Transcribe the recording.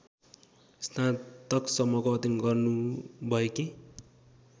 स्नातकसम्मको अध्ययन गर्नुभएकी